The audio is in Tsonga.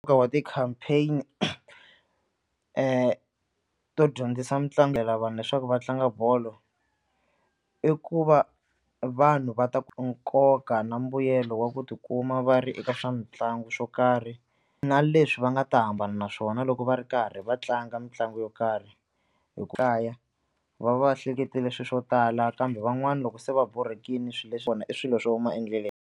Nkoka wa ti-campaign to dyondzisa mitlangu vanhu leswaku va tlanga bolo i ku va vanhu va ta nkoka na mbuyelo wa ku tikuma va ri eka swa mitlangu swo karhi na leswi va nga ta hambana naswona loko va ri karhi va tlanga mitlangu yo karhi hi ku kaya va va hleketela swilo swo tala kambe van'wana loko se va borhekile swilo leswi swona i swilo swo huma endleleni.